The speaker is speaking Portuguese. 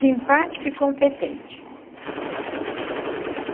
Simpática e competente.